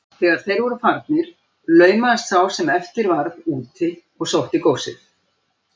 Þegar þeir voru farnir laumaðist sá sem eftir varð út og sótti góssið.